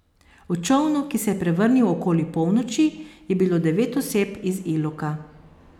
V čolnu, ki se je prevrnil okoli polnoči, je bilo devet oseb iz Iloka.